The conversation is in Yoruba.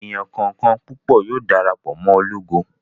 Èèyàn kọ̀ọ̀kan púpọ̀ yóò dara pọ̀ mọ́ ológo